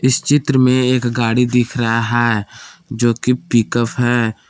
इस चित्र में एक गाड़ी दिख रहा है जो कि पिक अप है।